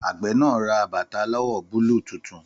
Àgbẹ̀ náà ra bàtà aláwọ̀ búlúù tuntun